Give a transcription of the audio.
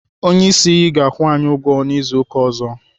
Onyeisi ga-akwụ anyị ụgwọ n'izu ụka ọzọ.